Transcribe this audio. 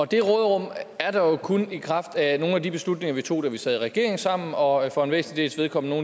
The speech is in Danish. det råderum er der jo kun i kraft af nogle af de beslutninger vi tog da vi sad i regering sammen og for en væsentlig dels vedkommende